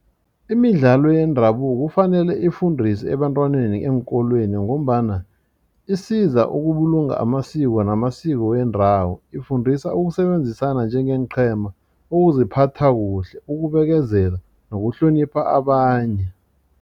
Imidlalo yendabuko kufanele ifundiswe ebantwaneni eenkolweni ngombana isiza ukubulunga amasiko namasiko wendawo ifundisa ukusebenzisana njengeenqhema ukuziphatha kuhle ukubekezela nokuhlonipha abanye.